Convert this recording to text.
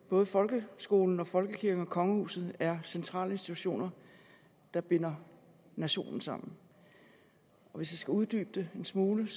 både folkeskolen folkekirken og kongehuset er centrale institutioner der binder nationen sammen hvis jeg skulle uddybe det en smule